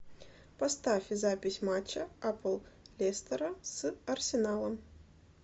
поставь запись матча апл лестера с арсеналом